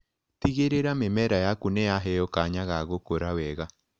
Tigĩrĩra mĩmera yaku nĩyaheo kanya ga gũkũra wega.